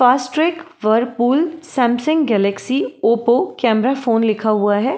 Fast track Whirlpool Samsung Galaxy Oppo camera phone लिखा हुआ है।